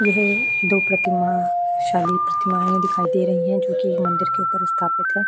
यहां दो प्रतिमा शाली प्रतिमाएं दिखाई दे रही हैं जो कि मंदिर के ऊपर स्थापित है।